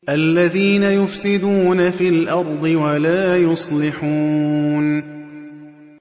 الَّذِينَ يُفْسِدُونَ فِي الْأَرْضِ وَلَا يُصْلِحُونَ